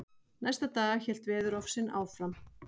Næsta dag hélt veðurofsinn áfram.